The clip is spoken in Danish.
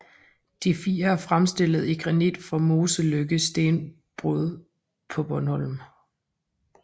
De fire er fremstillet i granit fra Moseløkken Stenbrud på Bornholm